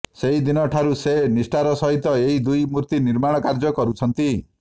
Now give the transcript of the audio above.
ସେହିଦିନ ଠାରୁ ସେ ନିଷ୍ଠାର ସହିତ ଏହି ଦୁଇ ମୂର୍ତ୍ତି ନିର୍ମାଣ କାର୍ଯ୍ୟ କରୁଛନ୍ତି